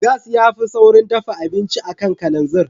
Gas ya fi saurin dafa abinci a kan kalanzir.